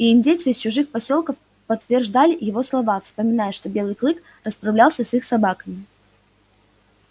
и индейцы из чужих посёлков подтверждали его слова вспоминая что белый клык расправлялся с их собаками